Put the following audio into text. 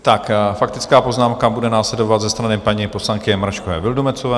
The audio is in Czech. Faktická poznámka bude následovat ze strany paní poslankyně Mračkové Vildumetzové.